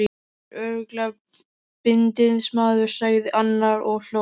Þetta er örugglega bindindismaður, sagði annar og hló.